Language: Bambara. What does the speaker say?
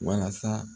Walasa